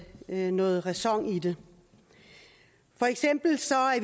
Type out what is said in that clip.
noget ræson i det for eksempel